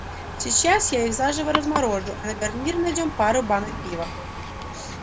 сейчас я их заживо разморожу а на гарнир найдём пару банок пива